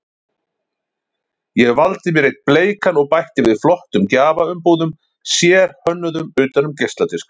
Ég valdi mér einn bleikan og bætti við flottum gjafaumbúðum, sérhönnuðum utan um geisladiska.